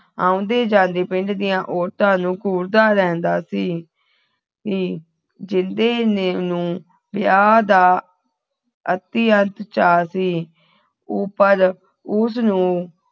ਆਉਂਦੇ ਜਾਂਦੇ ਪਿੰਡ ਦੀਆ ਔਰਤਾਂ ਨੂੰ ਘੂਰਦਾ ਰਹਿੰਦਾ ਸੀ ਸੀ ਜਿੰਦੇ ਨੂੰ ਵਿਆਹ ਦਾ ਅਤਿਅੰਤ ਚਾਹ ਸੀ ਉਹ ਪਰ ਉਸ ਨੂੰ